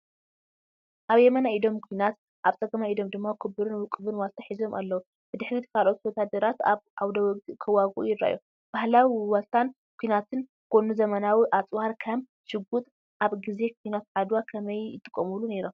ኣብ የማናይ ኢዶም ኲናት፡ ኣብ ጸጋማይ ኢዶም ድማ ክቡርን ውቁብን ዋልታ ሒዞም ኣለዉ። ብድሕሪት ካልኦት ወተሃደራት ኣብ ዓውደ ውግእ ክዋግኡ ይረኣዩ። ባህላዊ ዋልታን ኲናትን ጎኒ ዘመናዊ ኣጽዋር (ከም ሽጉጥ) ኣብ ግዜ ኲናት ዓድዋ ከመይ ይጥቀሙሉ ነይሮም?